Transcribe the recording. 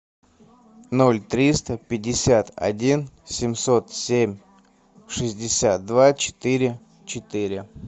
ноль триста пятьдесят один семьсот семь шестьдесят два четыре четыре